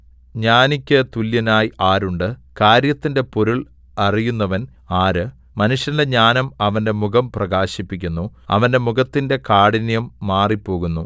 ജ്ഞാനിക്കു തുല്യനായി ആരുണ്ട് കാര്യത്തിന്റെ പൊരുൾ അറിയുന്നവൻ ആര് മനുഷ്യന്റെ ജ്ഞാനം അവന്റെ മുഖം പ്രകാശിപ്പിക്കുന്നു അവന്റെ മുഖത്തിന്റെ കാഠിന്യം മാറിപ്പോകുന്നു